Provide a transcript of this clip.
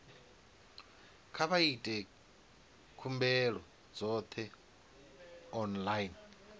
kha vha ite khumbelo dzoṱhe online